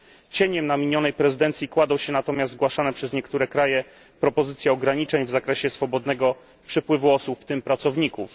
Cieniem na minionej prezydencji kładą się natomiast zgłaszane przez niektóre kraje propozycje ograniczeń w zakresie swobodnego przepływu osób, w tym pracowników.